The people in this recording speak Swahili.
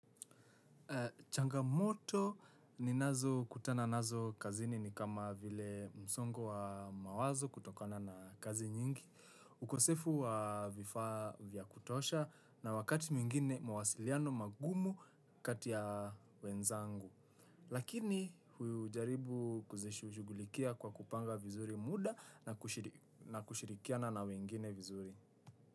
Changamoto ninazokutana nazo kazini ni kama vile msongo wa mawazo kutokana na kazi nyingi. Ukosefu wa vifaa vya kutosha na wakati mwingine mawasiliano magumu kati ya wenzangu. Lakini hujaribu kuzishughulikia kwa kupanga vizuri muda na kushirikiana na wengine vizuri.